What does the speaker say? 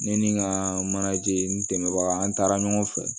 Ne ni n ka manaje n dɛmɛbaga an taara ɲɔgɔn fɛ